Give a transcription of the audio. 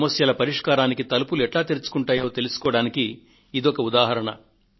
సమస్యల పరిష్కారానికి తలుపులు ఎట్లా తెరుచుకుంటాయో తెలుసుకోవడానికి ఇదొక ఉదాహరణ